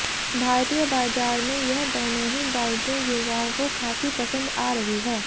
भारतीय बाजार में यह दोनों ही बाइकें युवाओं को खासी पसंद आ रही है